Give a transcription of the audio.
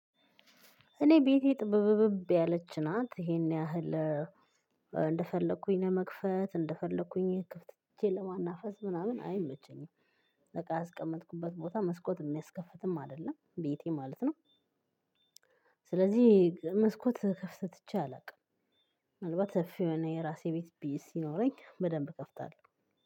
እኔ ቤቴ ጥብብብ ያለች ናት ይሄን ያህል እንደፈለኩኝ ለመክፈት እንደፈለኩኝ ክፍት ቼ ለማናፈስ ምናምን አይመቸኝም። እቃ ያስቀመጥኩበት ቦታ መስኮት የሚያስከፍትም አይደለም ቤቴ ማለት ነው። ስለዚህ መስኮት ክፍት ትቼ አላውቅም። ምናልባት ሰፊ የሆነ የራሴ ቤት ሲኖረኝ በደንብ እከፍታለሁ።